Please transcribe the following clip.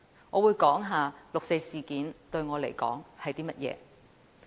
我會談談六四事件於我而言是甚麼一回事。